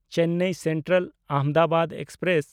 Chennai ᱥᱮᱱᱴᱨᱟᱞ–ᱟᱦᱚᱢᱫᱟᱵᱟᱫ express